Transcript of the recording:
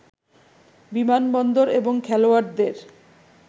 বিমানবন্দর এবং খেলোয়াড়দের